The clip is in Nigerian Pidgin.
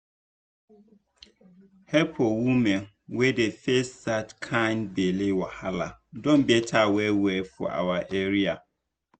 help for women wey dey face that kind belle wahala don better well well for our area